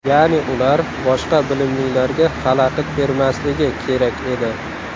Ya’ni ular boshqa bilimlilarga xalaqit bermasligi kerak edi.